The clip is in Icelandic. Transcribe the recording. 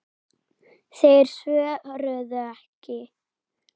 Þeir svöruðu ekki.